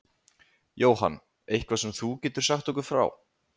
Jóhann: Eitthvað sem þú getur sagt okkur frá?